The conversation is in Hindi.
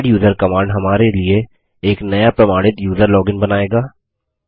एड्यूजर कमांड हमारे लिए एक नया प्रमाणित यूज़र लॉगिन बनाएगा